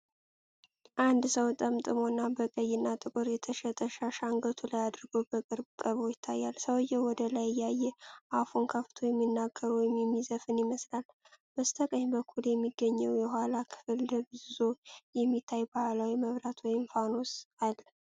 አንድ ሰው ጠምጥሞና በቀይና ጥቁር የተሸጠ ሻሽ አንገቱ ላይ አድርጎ በቅርብ ቀርቦ ይታያል። ሰውዬው ወደ ላይ እያየ አፉን ከፍቶ የሚናገር ወይም የሚዘፍን ይመስላል። በስተቀኝ በኩል በሚገኘው የኋላ ክፍል ደብዝዞ የሚታይ ባህላዊ መብራት ወይም ፋኖስ አለ።